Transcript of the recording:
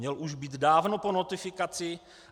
Měl už být dávno po notifikaci.